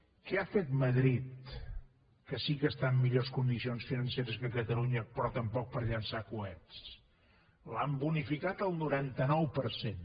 què ha fet madrid que sí que està en millors condicions financeres que catalunya però tampoc per llançar coets l’han bonificat el noranta nou per cent